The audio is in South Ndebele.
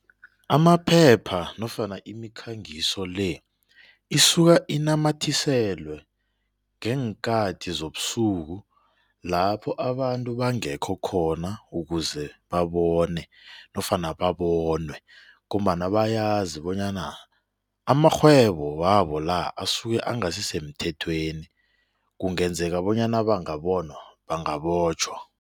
Amaphepha nofana imikhangiso le isuka inamathiselwe ngeenkathi zobusuku lapho abantu bangekho khona ukuze babone nofana babonwe ngombana bayazi bonyana amarhwebo wabo la asuke engasisemthethweni kungenzeka bonyana bangabonwa bangabotjhwa.